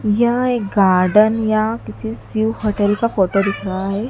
यहां एक गार्डन या किसी शिव होटल का फोटो दिख रहा है।